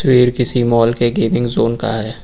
यह किसी मॉल के गेमिंग जॉन का है।